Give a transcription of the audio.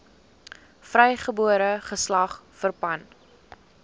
vrygebore geslag verpand